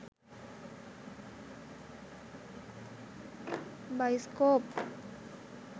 baiscope